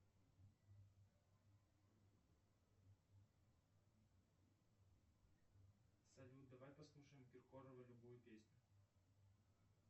салют давай послушаем киркорова любую песню